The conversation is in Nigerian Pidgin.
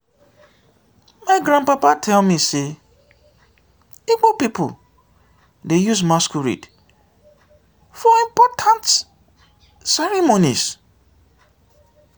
my grandpapa tell me sey igbo pipo dey use masquerade for important ceremonies.